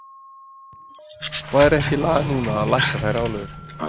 Væri ekki lag núna að lækka þær álögur?